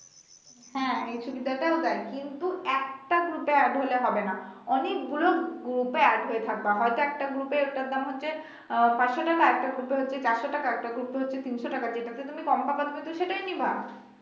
হ্যা এই সুবিধা টাও দেয় কিন্তু একটা group add হলে হবে না অনেক গুলো group add হয়ে থাকবা হয়তো একটা group এ একটার দাম হচ্ছে আহ পাচশ টাকা একটা group এ হচ্ছে চারশ টাকা একটা গ্রুপে হচ্ছে তিনশ টাকা যেটাতে তুমি কম পাবা তুমি সেটাতে নিবা।